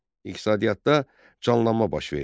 İqtisadiyyatda canlanma baş verdi.